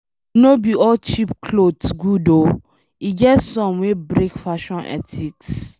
No be all cheap clothes good oo E get some wey break fashion ethics